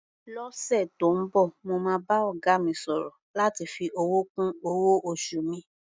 Lọ́sẹ̀ tó ń bọ̀, mo máa bá ọ̀gá mi sọ̀rọ̀ láti fi owó kún owó-oṣù mi.